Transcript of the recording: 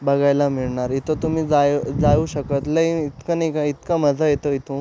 बघायला मिळणार इथ तुम्ही जाय जाऊ शकत लय इतका नाय का इतका मजा येतो इथून--